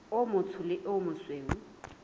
o motsho le o mosweu